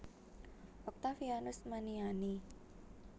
Oktavianus Maniani